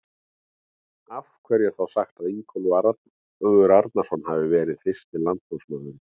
Af hverju er þá sagt að Ingólfur Arnarson hafi verið fyrsti landnámsmaðurinn?